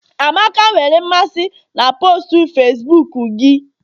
amaka nwere mmasị na postu Facibuku gị?